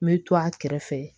N bɛ to a kɛrɛfɛ